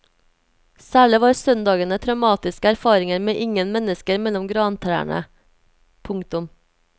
Særlig var søndagene traumatiske erfaringer med ingen mennesker mellom grantrærne. punktum